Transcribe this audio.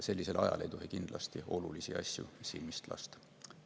Sellisel ajal ei tohi kindlasti olulisi asju silmist lasta.